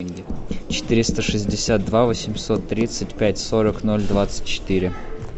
четыреста шестьдесят два восемьсот тридцать пять сорок ноль двадцать четыре